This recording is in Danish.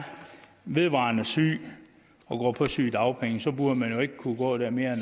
vedvarende syg og går på sygedagpenge burde man ikke kunne gå der mere